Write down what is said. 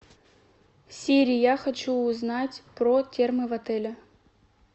сири я хочу узнать про термы в отеле